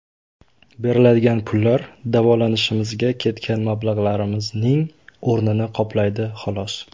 Beriladigan pullar davolanishimizga ketgan mablag‘larimizning o‘rnini qoplaydi, xolos.